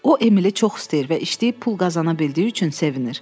O, Emili çox istəyir və işləyib pul qazana bildiyi üçün sevinir.